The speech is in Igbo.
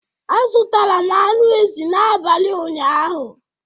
A zụtara m anụ ezi n'abalị ụnyaahụ.